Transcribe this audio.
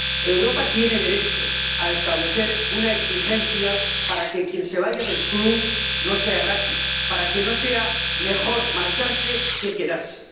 Europa tiene derecho a establecer una exigencia para que irse del club no sea gratis, para que no sea mejor marcharse que quedarse.